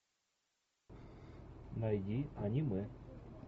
найди аниме